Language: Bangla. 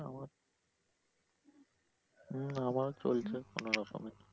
হম আমারও চলছে কোনরকমে।